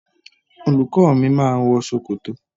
Olùkó mi ma wọ ṣòkòtò